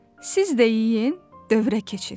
Siz də yeyin, dövrə keçin.